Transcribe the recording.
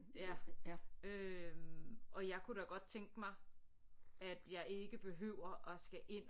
Ja øh og jeg kunne da godt tænke mig at jeg ikke behøver at skal ind